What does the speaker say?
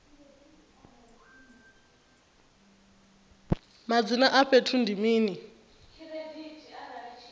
madzina a fhethu ndi mini